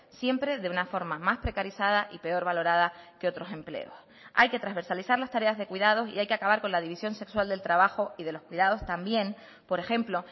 siempre de una forma más precarizada y peor valorada que otros empleos hay que transversalizar las tareas de cuidados y hay que acabar con la división sexual del trabajo y de los cuidados también por ejemplo